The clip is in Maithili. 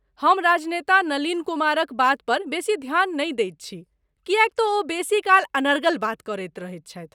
हम राजनेता नलिन कुमारक बातपर बेसी ध्यान नहि दैत छी, किएक तँ ओ बेसीकाल अनर्गल बात करैत रहैत छथि।